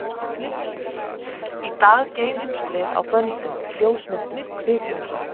Í dag geymumst við á böndum, ljósmyndum, kvikmyndum.